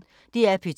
DR P2